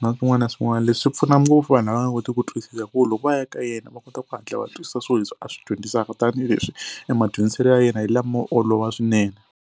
na swin'wana na swin'wana. Leswi swi pfuna ngopfu vanhu lava nga kotiki ku twisisa hi ku loko va ya ka yena va kota ku hatla va twisisa swilo leswi a swi dyondzisaka tanihileswi e madyondziselo ya yena hi lamo olova swinene.